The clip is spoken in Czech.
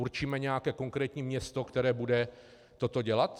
Určíme nějaké konkrétní město, které bude toto dělat?